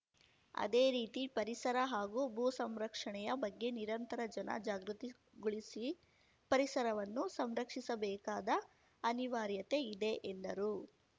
ಅದೇ ರೀತಿ ಪರಿಸರ ಹಾಗೂ ಭೂ ಸಂರಕ್ಷಣೆಯ ಬಗ್ಗೆ ನಿರಂತರ ಜನ ಜಾಗೃತಿಗೊಳಿಸಿ ಪರಿಸರವನ್ನು ಸಂರಕ್ಷಿಸಬೇಕಾದ ಅನಿವಾರ್ಯತೆ ಇದೆ ಎಂದರು